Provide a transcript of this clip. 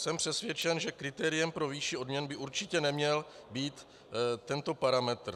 Jsem přesvědčen, že kritériem pro výši odměn by určitě neměl být tento parametr.